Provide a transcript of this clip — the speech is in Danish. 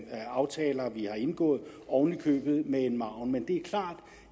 aftaler vi har indgået oven i købet med en margen men det er klart